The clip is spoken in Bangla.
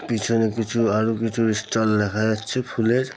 পিছনে কিছু আরও কিছু স্টল দেখা যাচ্ছে ফুলের।